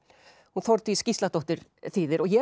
hún Þórdís Gísladóttir þýðir ég